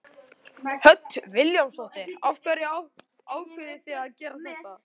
Hödd Vilhjálmsdóttir: Af hverju ákváðuð þið að gera þetta?